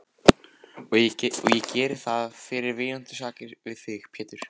Og geri ég það fyrir vináttusakir við þig, Pétur.